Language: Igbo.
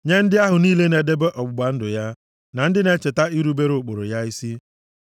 nye ndị ahụ niile na-edebe ọgbụgba ndụ ya na ndị na-echeta irubere ụkpụrụ ya isi.